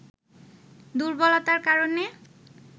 দুর্বলতার কারণে